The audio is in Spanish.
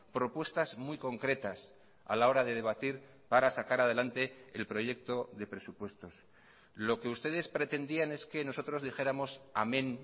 propuestas muy concretas a la hora de debatir para sacar adelante el proyecto de presupuestos lo que ustedes pretendían es que nosotros dijéramos amén